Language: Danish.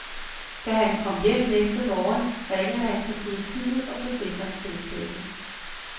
Da han kom hjem næste morgen, ringede han til politiet og forsikringsselskabet.